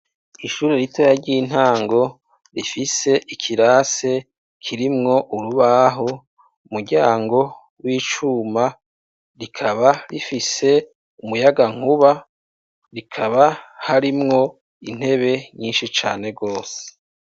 Ishure ritoya ry'intango rifise ikirase kirimwo urubaho, umuryango w'icuma rikaba rifise umuyagankuba bikaba harimwo intebe nyishi cane gose